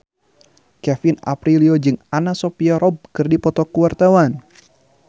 Kevin Aprilio jeung Anna Sophia Robb keur dipoto ku wartawan